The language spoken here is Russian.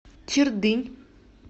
чердынь